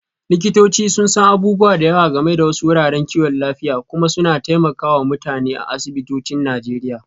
Likitoci sun san abubuwa da yawa game da wasu wuraren kiwon lafiya kuma suna taimaka wa mutane a asibitocin Najeriya.